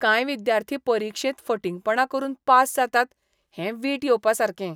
कांय विद्यार्थी परिक्षेंत फटींगपणा करून पास जातात हें वीट येवपासारकें.